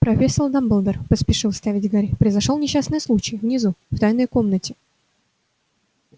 профессор дамблдор поспешил вставить гарри произошёл несчастный случай внизу в тайной комнате